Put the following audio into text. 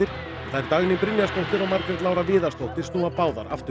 þær Dagný Brynjarsdóttir og Margrét Lára Viðarsdóttir snúa báðar aftur